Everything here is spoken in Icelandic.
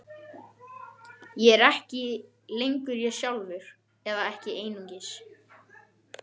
Ég er ekki lengur ég sjálfur, eða ekki einungis.